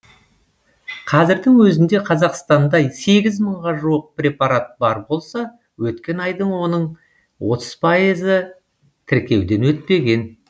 қазірдің өзінде қазақстанда сегіз мыңға жуық препарат бар болса өткен айда оның отыз пайызы тіркеуден өтпеген